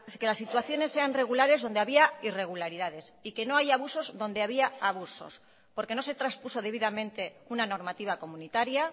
que las situaciones sean regulares donde había irregularidades y que no haya abusos donde había abusos porque no se traspuso debidamente una normativa comunitaria